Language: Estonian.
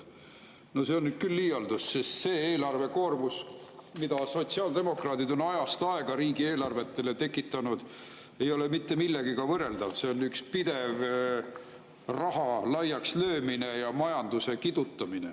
No see on nüüd küll liialdus, sest see eelarvekoormus, mida sotsiaaldemokraadid on ajast aega riigieelarvetele tekitanud, ei ole mitte millegagi võrreldav, see on üks pidev raha laiakslöömine ja majanduse kidutamine.